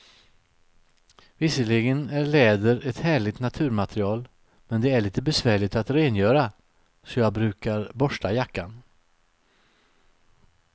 Visserligen är läder ett härligt naturmaterial, men det är lite besvärligt att rengöra, så jag brukar borsta jackan.